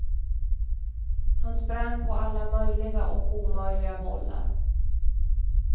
Han sprang på alla möjliga och omöjliga bollar.